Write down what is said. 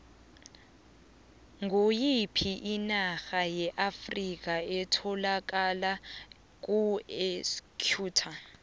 ngoyiphi inarha yeafrikha etholakala kuequator